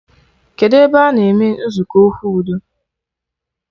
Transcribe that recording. Kedụ ebe a na-eme nzukọ okwu udo